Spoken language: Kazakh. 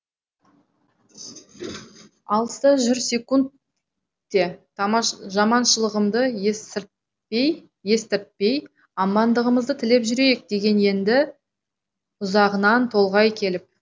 алыста жүр секунд те жаманшылығымды естіртпей амандығымызды тілеп жүрейік деген енді ұзағынан толғай келіп